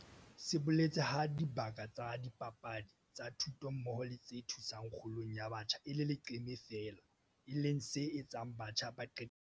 Se boletse ha dibaka tsa dipapadi, tsa thuto mmoho le tse thusang kgolong ya batjha e le leqeme feela, e leng se etsang batjha ba qetelle ba 'kena ditameneng'.